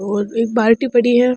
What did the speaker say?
और एक बाल्टी पड़ी है।